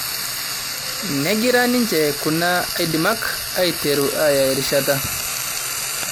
negira ninje kuna aidimak aiteru aaya errishata